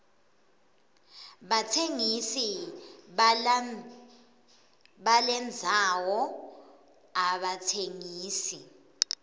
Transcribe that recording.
batsengisi balendzano abatsengisi